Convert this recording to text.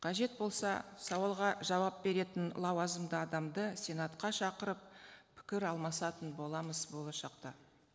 қажет болса сауалға жауап беретін лауазымды адамды сенатқа шақырып пікір алмасатын боламыз болашақта